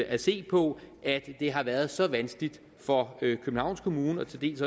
at se på at det har været så vanskeligt for københavns kommune til dels